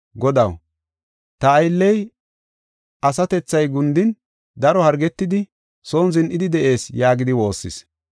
“Godaw, ta aylley asatethay gundin daro hargetidi, son zin7idi de7ees” yaagidi woossis.